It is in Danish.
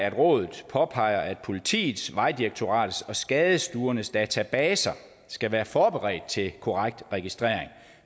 at rådet påpeger at politiets vejdirektoratets og skadestuernes databaser skal være forberedt til korrekt registrering